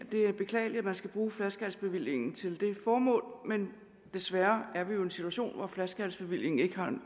det er beklageligt at man skal bruge flaskehalsbevillingen til det formål men desværre er vi jo i en situation hvor flaskehalsbevillingen ikke